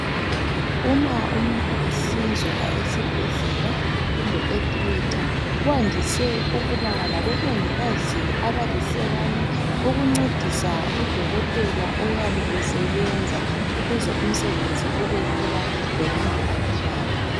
Uma umuntu ehlinzwa esibhedlela kumbe etheatre kwandise ukuba labomongikazi abalihlekan aukuncedisa udokotela oyabe esebenza ukuze umsebenzi ube lula lomuntu alulame.